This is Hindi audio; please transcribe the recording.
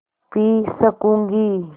पी सकँूगी